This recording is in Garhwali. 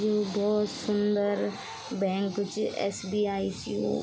यु भोत सुन्दर बैंक च एस.बी.आई. च यो।